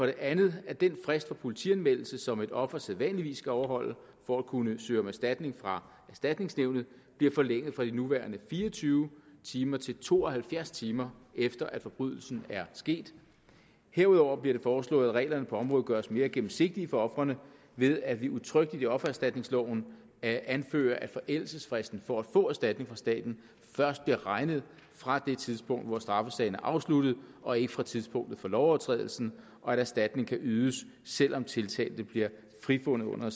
det andet at den frist for politianmeldelse som et offer sædvanligvis skal overholde for at kunne søge om erstatning fra erstatningsnævnet bliver forlænget fra de nuværende fire og tyve timer til to og halvfjerds timer efter at forbrydelsen er sket herudover bliver det foreslået at reglerne på området gøres mere gennemsigtige for ofrene ved at vi udtrykkeligt i offererstatningsloven anfører at forældelsesfristen for at få erstatning fra staten først bliver regnet fra det tidspunkt hvor straffesagen er afsluttet og ikke fra tidspunktet for lovovertrædelsen og at erstatning kan ydes selv om tiltalte blev frifundet under